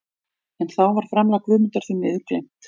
En þá var framlag Guðmundar því miður gleymt.